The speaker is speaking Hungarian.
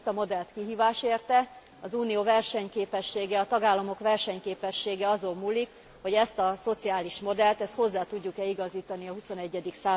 Ezt a modellt kihívás érte, az Unió versenyképessége, a tagállamok versenyképessége azon múlik, hogy ezt a szociális modellt, ezt hozzá tudjuk e igazítani a XXI.